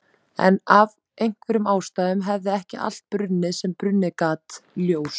En af einhverjum ástæðum hafði ekki allt brunnið sem brunnið gat, ljós